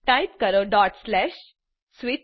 type કરો switch